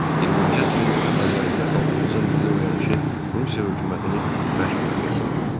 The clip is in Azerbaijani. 20-ci əsrin əvvəllərində xalqımızın milli oyanışı Rusiya hökumətini bərk qorxuya saldı.